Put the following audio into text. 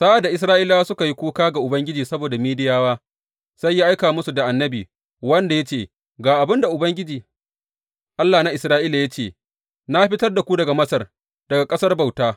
Sa’ad da Isra’ilawa suka yi kuka ga Ubangiji saboda Midiyawa, sai ya aika musu da annabi, wanda ya ce, Ga abin da Ubangiji, Allah na Isra’ila ya ce na fitar da ku daga Masar, daga ƙasar bauta.